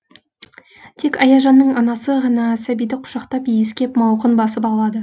тек аяжанның анасы ғана сәбиді құшақтап иіскеп мауқын басып алады